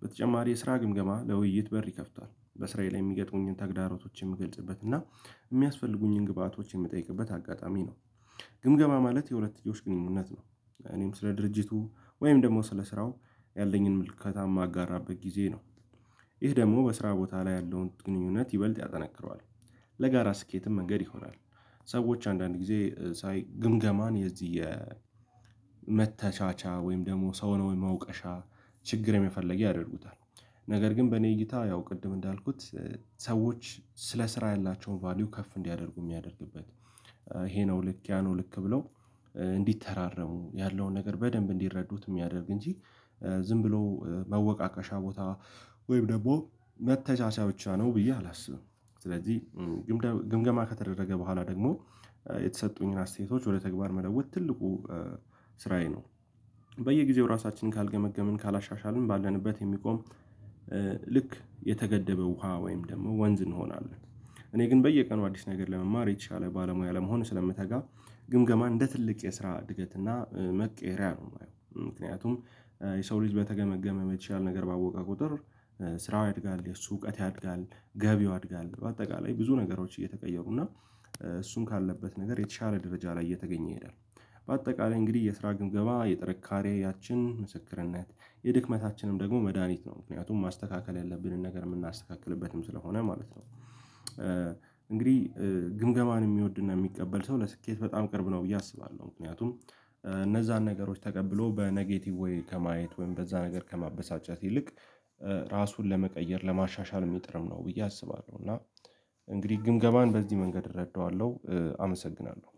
በተጨማሪ የስራ ግምገማ ለውይይት በር ይከፍታል በስራዬ የሚገጥሙኝን ተግዳሮቶች የምገልጽበት እና የሚያስፈልጉኝን ግብአቶች የምትጠይቅበት አጋጣሚ ነው። ግምገማ ማለት የሁለት ልጆች ግንኙነት ነው እኔም ስለ ድርጅቱ ወይም ደግሞ ስለ ስራው ያለኝን ምልከታ የማጋራበት ጊዜ ነው። ይህ ደግሞ በስራ ቦታ ላይ ያለውን ግንኙነት ይበልጥ ያጠናክረዋል ለጋራ ስኬትም መንገድ ይሆናል። ሰዎች አንዳንድ ጊዜ ሳይ ግምገማን የዚህ የመተቻቻ ወይም ደግሞ ሰው ነው ወይም መውቀሻ ችግር የመፈለግያ ያደርጉታል። ነገር ግን በእኔ እይታ ያው ቅድም እንዳልኩት ሰዎች ስለ ስራ ያላቸውን ቫልዩ ከፍ እንዲያደርጉ የሚያደርግበት ይሄ ነው ልክ ያ ነው ልክ ብለው እንዲተራረሙ ያለውን ነገር በደንብ እንዲረዱት የሚያደርግ እንጂ ዝም ብሎ መወቃቀሻ ቦታ ወይም ደግሞ መተቻቻያ ብቻ ነው ብዬ አላስብም። ስለዚህ ግምገማ ከተደረገ በኋላ ደግሞ የተሰጡኝን አስተያየቶች ወደ ተግባር መለወጥ ትልቁ ስራዬ ነው። በየጊዜው ራሳችንን ካልገመገምን ካላሻሻልን ባለንበት የሚቆም ልክ የተገደበው ውሃ ወይም ደግሞ ወንዝ እንሆናለን። እኔ ግን በየቀኑ አዲስ ነገር ለመማር የሻለ ባለሙያ ለመሆኑ ስለምተጋ ግምገማ እንደ ትልቅ የስራ እድገት እና መቀየሪያ ነው የማየው ምክንያቱም የሰው ልጅ በተገመገመ የተሻለ ነገር ባወቀ ቁጥር ስራው ያድጋል የሱ እውቀት ያድጋል ገቢው ያድጋል በአጠቃላይ ብዙ ነገሮች እየተቀየሩ እና እሱን ካለበት ነገር የተሻለ ደረጃ ላይ እየተገኘ ይሄዳል። በአጠቃላይ እንግዲህ የስራ ግምገባ የጥንካሬያችን ምስክርነት የድክመታችንም ደግሞ መድሃኒት ነው ምክንያቱም ማስተካከል ያለብንን ነገር የምናስተካክልበትም ስለሆነ ማለት ነው። እንግዲህ ግምገማን የሚወድና የሚቀበል ሰው ለስኬት በጣም ቅርብ ነው ብዬ አስባለሁ። ምክንያቱም እነዛን ነገሮች ተቀብሎ በኔጌቲቭ ወይ ከማየት ወይም በዛ ነገር ከማበሳጨት ይልቅ ራሱን ለመቀየር ለማሻሻል ሜጥርም ነው ብዬ አስባለሁ። እና እንግዲህ ግምገባን በዚህ መንገድ እረዳዋለሁ አመሰግናለሁ